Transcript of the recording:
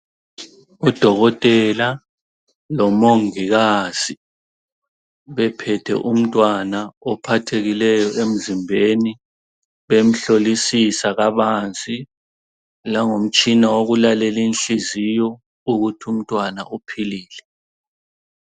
Udokotela lomongikazi bephethe umntwana ophathekileyo emzimbeni, bemhlosisa kabanzi langomtshina wokulalela inhliziyo ukuthi umntwana uphilile.